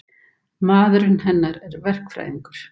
Maðurinn hennar er verkfræðingur.